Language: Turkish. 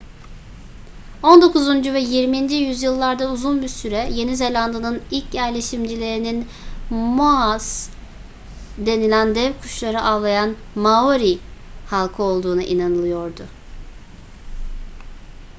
on dokuzuncu ve yirminci yüzyıllarda uzun bir süre yeni zelanda'nın ilk yerleşimcilerinin moas denilen dev kuşları avlayan maori halkı olduğuna inanılıyordu